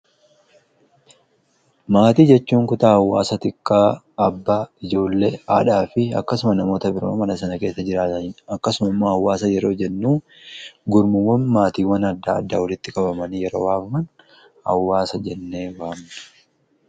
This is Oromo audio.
maatii jechuun kutaa awwaasa xiqqaa abba ijoollee haadhaa fi akkasuma namoota biraa mana sana keessa jiraataniidha akkasumammoo awwaasa yeroo jennuu gurmuwwan maatiiwwan adda addaa wolitti qabamanii yeroo waamaman awwaasa jennee waamna